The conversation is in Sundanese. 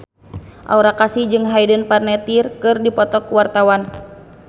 Aura Kasih jeung Hayden Panettiere keur dipoto ku wartawan